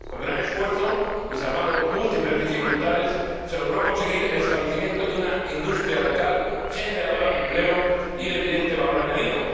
Con gran esfuerzo, y salvando múltiples dificultades, se logró conseguir el establecimiento de una industria local generadora de empleo y de evidente valor añadido.